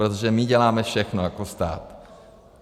Protože my děláme všechno jako stát.